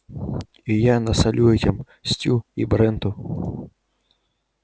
и я насолю этим стю и бренту